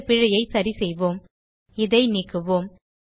இந்த பிழையை சரிசெய்வோம் இதை நீக்குவோம்